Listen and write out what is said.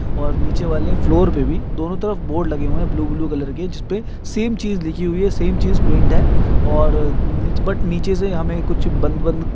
और नीचे वाले फ्लोर पे भी दोनों तरफ बोर्ड लगे हुए है। ब्लू ब्लू कलर के जिसपे सेम चीज़ लिखी हुई है सेम चीज़ प्रिंट है और बट नीचे से हमे कुछ बंद बंद --